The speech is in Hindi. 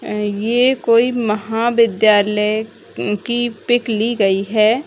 ये कोई महाविद्यालय की पिक ली गयी है।